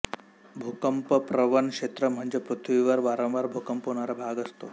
भूकंपप्रवण क्षेत्र म्हणजे पृथ्वीवर वारंवार भूकंप होणारा भाग असतो